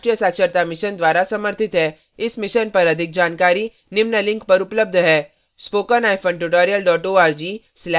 इस mission पर अधिक जानकारी निम्न लिंक पर उपलब्ध है